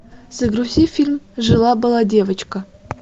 загрузи фильм жила была девочка